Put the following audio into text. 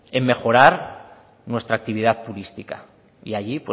en mejorar nuestra actividad turística y allí